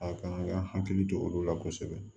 A kan ka hakili to olu la kosɛbɛ